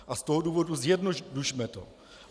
A z toho důvodu - zjednodušme to.